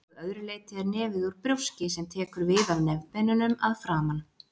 Að öðru leyti er nefið úr brjóski sem tekur við af nefbeinunum að framan.